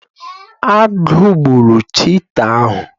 Agụ gburu cheeta ahu